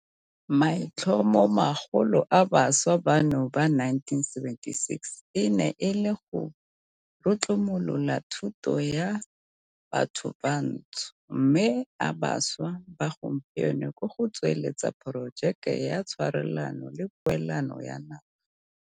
Maitlhomomagolo a bašwa bano ba 1976 e ne e le go rutlumolola thuto ya bathobantsho, mme a bašwa ba gompieno ke go tsweletsa porojeke ya tshwarelano le poelano ya naga.